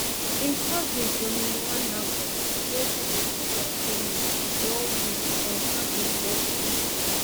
im cousin tony muonagor wey pipo sabi as tony oneweek confam im death to bbc